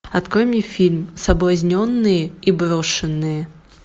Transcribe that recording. открой мне фильм соблазненные и брошенные